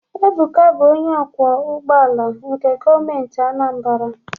Ebuka bụ onye ọkwọ ụgbọala nke Gọọmenti Anambra.